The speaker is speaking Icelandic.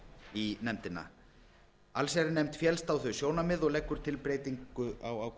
í nefndina allsherjarnefnd féllst á þau sjónarmið og leggur til breytingu á